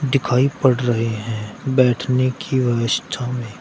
दिखाई पड़ रहे हैं बैठने की व्यवस्था में--